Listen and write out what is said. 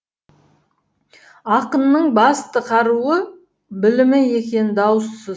ақынның басты қаруы білімі екені даусыз